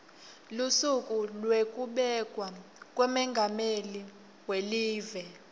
lusuku lwekubekwa kwamengameli welive